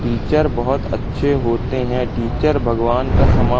teacher बहोत अच्छे होते हैं टीचर भगवान का समा--